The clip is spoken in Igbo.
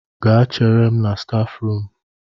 Gaa chere m na stafu rum